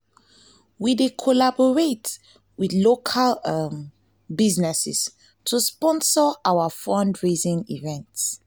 we dey collaborate with local um businesses to sponsor our fundraising events.